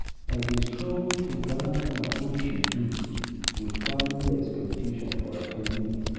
I dey struggle to balance my own schedule with family expectations for at ten ding events.